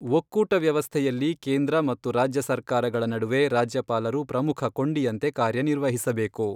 ಒಕ್ಕೂಟ ವ್ಯವಸ್ಥೆಯಲ್ಲಿ ಕೇಂದ್ರ ಮತ್ತು ರಾಜ್ಯ ಸರ್ಕಾರಗಳ ನಡುವೆ ರಾಜ್ಯಪಾಲರು ಪ್ರಮುಖ ಕೊಂಡಿಯಂತೆ ಕಾರ್ಯ ನಿರ್ವಹಿಸಬೇಕು.